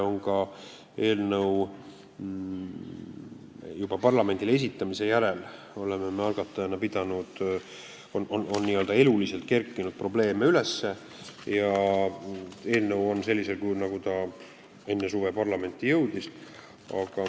Juba eelnõu parlamendile esitamise järel on n-ö eluliselt probleeme üles kerkinud, kuid eelnõu on siin sellisel kujul, nagu ta enne suve parlamenti jõudis.